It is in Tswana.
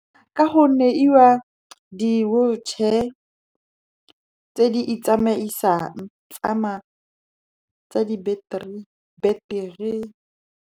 Ka gonne e wa di-wheelchair tse di itsamaisang, tsa dibeteri.